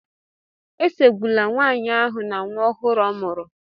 Esogbula nwanyị ahụ na nwa ọhụrụ ọ mụrụ